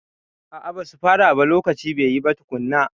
A'a, ba su fara ba lokaci bai yi ba tukunna.